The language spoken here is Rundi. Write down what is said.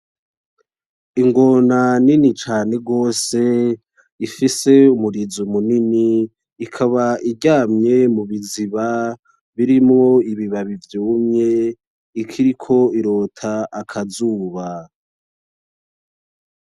Ingona nini cane gose , ifise umurizo munini , ikaba iryamye mubiziba birimwo ibibabi vyumye ikiriko irota akazuba .